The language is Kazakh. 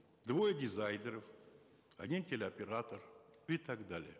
двое дизайнеров один телеоператор и так далее